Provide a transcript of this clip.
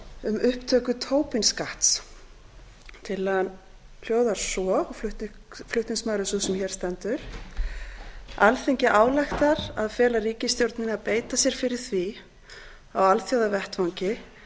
um upptöku tobin skatts flutningsmaður er sú sem hér stendur tillagan hljóðar svo alþingi ályktar að fela ríkisstjórninni að beita sér fyrir því á alþjóðavettvangi